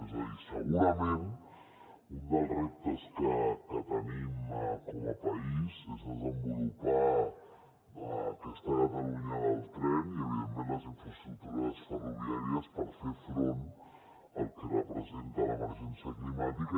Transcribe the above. és a dir segurament un dels reptes que tenim com a país és desenvolupar aquesta catalunya del tren i evidentment les infraestructures ferroviàries per fer front al que representa l’emergència climàtica